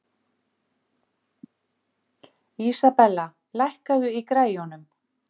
Ekki er hægt að segja með fullri vissu hver fann upp peningakerfið.